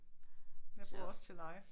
Jeg bor også til leje